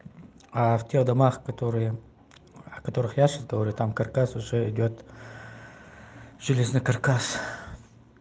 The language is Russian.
а в тех домах которые о которых я сейчас говорю там каркас уже идёт через на каркас